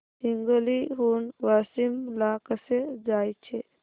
हिंगोली हून वाशीम ला कसे जायचे